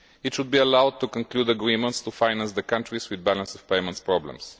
It should be allowed to conclude agreements to finance the countries with balance of payments problems.